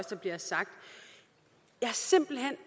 der bliver sagt jeg har simpelt hen